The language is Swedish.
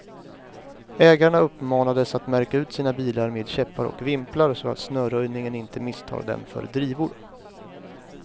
Ägarna uppmanades att märka ut sina bilar med käppar och vimplar, så att snöröjningen inte misstar dem för drivor.